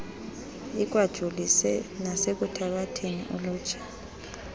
ikwajolise nasekuthabatheni ulutsha